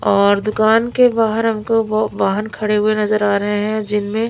और दुकान के बाहर हमको वो वाहन खड़े हुए नजर आ रहे है जिनमे--